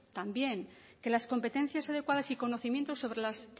también que las competencias adecuadas y conocimientos sobre las